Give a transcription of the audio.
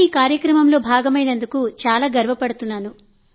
నేను ఆ కార్యక్రమంలో పాల్గొన్నందుకు చాలా సంతోషంగా ఉంది